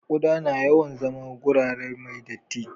Kuɗa na yawan zama a gurare mai datti